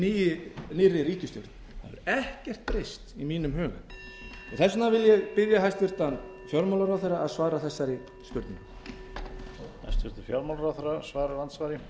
með nýrri ríkisstjórn það hefur ekkert breyst í mínum huga þess vegna vil ég spyrja hæstvirtan fjármálaráðherra að svara þessari spurningu